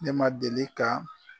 Ne ma deli ka.